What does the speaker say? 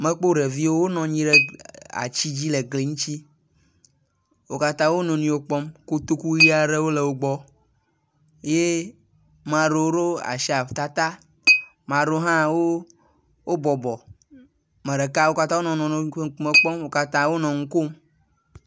Mekpɔ ɖeviwo wonɔ anyi ɖe aatsi dzi le gli ŋtsi. Wo katã wo nɔnɔewo kpɔm. Kotoku ʋi aɖewo le wo gbɔ ye mea rewo ro asi ata ta. Mearewo hã wo bɔbɔ. Me ɖeka wo katã wonɔ wo nɔnɔewo ƒe ŋkume kpɔm wo katã wonɔ nu kom.